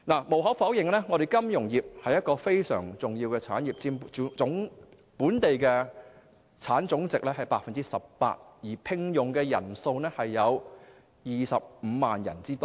無可否認，金融業是一個非常重要的產業，佔本地生產總值 18%， 聘用人數達25萬人。